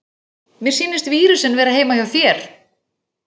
Mér sýnist vírusinn vera heima hjá þér.